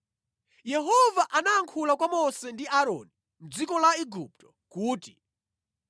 Yehova anayankhula kwa Mose ndi Aaroni mʼdziko la Igupto kuti,